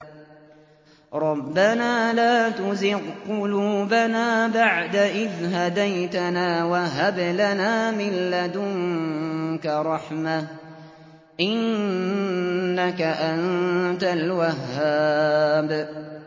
رَبَّنَا لَا تُزِغْ قُلُوبَنَا بَعْدَ إِذْ هَدَيْتَنَا وَهَبْ لَنَا مِن لَّدُنكَ رَحْمَةً ۚ إِنَّكَ أَنتَ الْوَهَّابُ